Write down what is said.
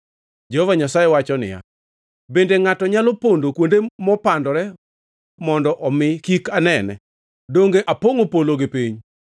Jehova Nyasaye wacho niya, “Bende ngʼato nyalo pondo kuonde mopandore mondo omi kik anene? Donge apongʼo polo gi piny?”